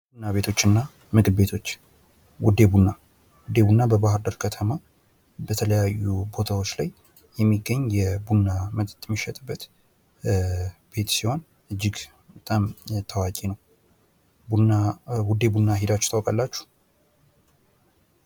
ቡና ቤቶች እና ምግብ ቤቶች ውደ ቡና ውደ ቡና በባህር ዳር ከተማ በተለያዩ ቦታዎች ላይ የሚገኝ የቡና መጠጥ የሚሸጥበት ቤት ሲሆን እጅግ በጣም ታዋቂ ነው። ውደ ቡና ሂዳችሁ ታውቃላችሁ?